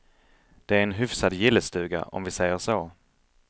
Det är en hyfsad gillestuga, om vi säger så.